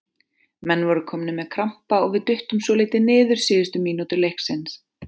Menn voru komnir með krampa og við duttum svolítið niður síðustu mínútur leiksins.